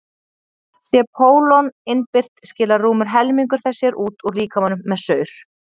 sé pólon innbyrt skilar rúmur helmingur þess sér út úr líkamanum með saur